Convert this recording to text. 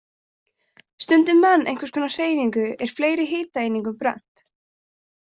Stundi menn einhvers konar hreyfingu er fleiri hitaeiningum brennt.